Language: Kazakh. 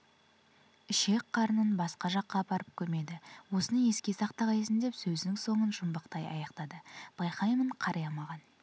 ішек-қарнын басқа жаққа апарып көмеді осыны еске сақтағайсың деп сөзінің соңын жұмбақтай аяқтады байқаймын қария маған